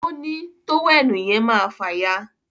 òní tówẹ́ẹ̀nù yen máa fàya